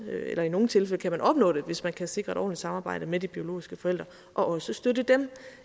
eller i nogle tilfælde kan man opnå det hvis man kan sikre et ordentligt samarbejde med de biologiske forældre og også støtte dem